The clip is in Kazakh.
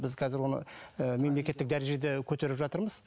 біз қазір оны ы мемлекеттік дәрежеде көтеріп жатырмыз